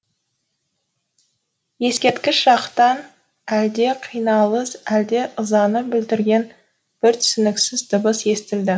ескерткіш жақтан әлде қиналыс әлде ызаны білдірген бір түсініксіз дыбыс естілді